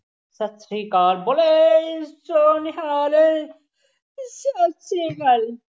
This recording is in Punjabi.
ਸਤਿ ਸ਼੍ਰੀ ਅਕਾਲ, ਬੋਲੇ ਸੋਹ ਨਿਹਾਲ ਸਤਿ ਸ਼੍ਰੀ ਅਕਾਲ।